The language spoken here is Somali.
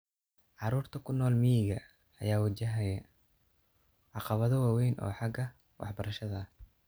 Carruurta ku nool miyiga ayaa wajahaya caqabado waaweyn oo xagga waxbarashada ah.